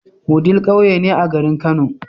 Wudil ƙauye ne a garin kano